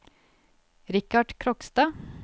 Richard Krogstad